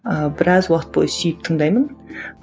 ыыы біраз уақыт бойы сүйіп тыңдаймын